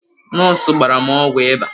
Nọọsụ gbara m ọgwụ ịba.